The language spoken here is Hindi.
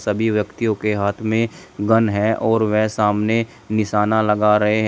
सभी व्यक्तियों के हाथ में गन है और वेह सामने निशाना लगा रहे हैं।